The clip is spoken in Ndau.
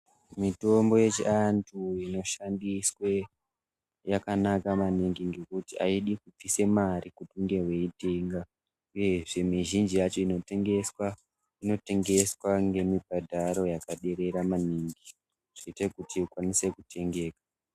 Mitombo yechiantu inosandiswe yakanaka maningi ngekuti aidi kubvise mare uchinge weiitenga uyezve mizhinji yacho yeitengeswa inotengeswa ngemubhadharo wakaderera maningi zvinoite kuti ikwanise kutengeka.